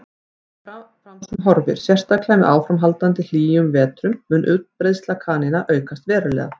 Ef fram fer sem horfir, sérstaklega með áframhaldandi hlýjum vetrum, mun útbreiðsla kanína aukast verulega.